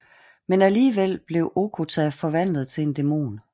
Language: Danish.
Men alligevel bliver Okkoto forvandlet til en dæmon